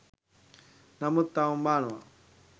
නමුත් තවම බානවා